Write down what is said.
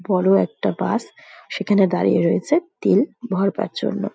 বড়ো একটা বাস সেখানে দাঁড়িয়ে রয়েছে তেল ভরবার জন্য।